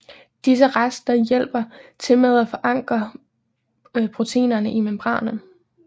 Disse rester hjælper til med at forankre proteinerne i membranen